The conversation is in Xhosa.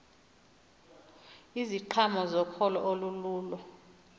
iziqhamo zokholo olululo